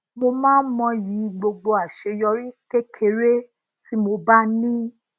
mo máa ń mọyì gbogbo aseyori kékeré tí mo bá ni